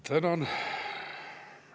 Tänan.